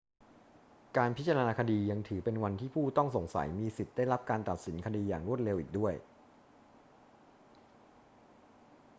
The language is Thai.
การพิจารณาคดียังถือเป็นวันที่ผู้ต้องสงสัยมีสิทธิ์ได้รับการตัดสินคดีอย่างรวดเร็วอีกด้วย